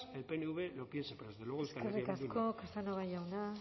el pnv lo piense pero desde luego euskal herria bildu no eskerrik asko casanova jauna